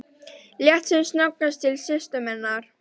Leit sem snöggvast til systur sinnar.